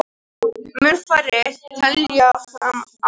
Mun færri telja fram arð